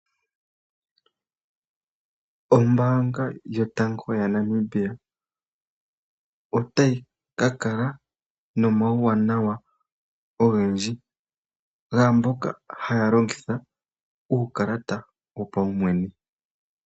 Ombaanga yotango yopashigwana, otayi ka kala nomauwanawa ogendji, gaamboka haya longitha uukalata wopaumwene.